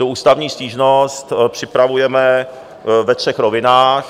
Tu ústavní stížnost připravujeme ve třech rovinách.